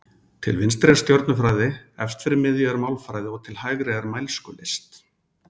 Til vinstri er stjörnufræði, efst fyrir miðju er málfræði og til hægri er mælskulist.